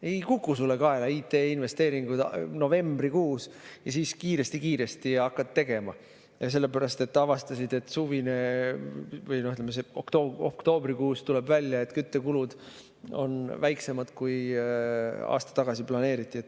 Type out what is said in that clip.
Ei kuku sulle kaela IT-investeering novembrikuus ja siis kiiresti-kiiresti hakkad tegema, sellepärast et oktoobrikuus avastasid, et küttekulud on väiksemad, kui aasta tagasi planeeriti.